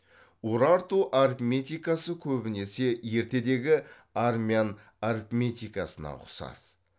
урарту арифметикасы көбінесе ертедегі армян арифметикасына ұқсас